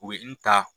U ye n ta